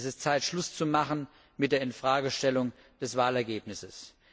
Es ist Zeit, Schluss zu machen mit der Infragestellung des Wahlergebnisses.